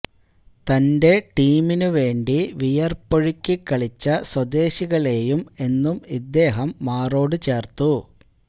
തന്റെ ടീമിനു വേണ്ടി വിയര്പ്പൊഴുക്കിക്കളിച്ച സ്വദേശികളെയും എന്നും ഇദ്ദേഹം മാറോട് ചേര്ത്തു